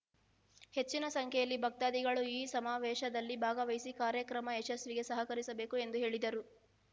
ಹೆಚ್ಚಿನ ಸಂಖ್ಯೆಯಲ್ಲಿ ಭಕ್ತಾಧಿಗಳು ಈ ಸಮಾವೇಶದಲ್ಲಿ ಭಾಗವಹಿಸಿ ಕಾರ್ಯಕ್ರಮ ಯಶಸ್ವಿಗೆ ಸಹಕರಿಸಬೇಕು ಎಂದು ಹೇಳಿದರು